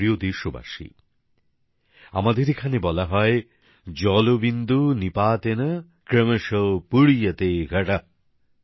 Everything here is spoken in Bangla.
আমার প্রিয় দেশবাসী আমাদের এখানে বলা হয় জলবিন্দু নিপাতেন ক্রমশ পূর্যতে ঘটঃ